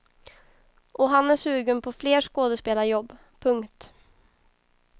Och han är sugen på fler skådespelarjobb. punkt